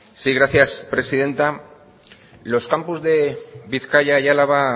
sí gracias presidenta los campus de bizkaia y álava